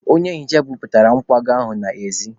Onye nhicha buputere nkwago ahụ n'ezi.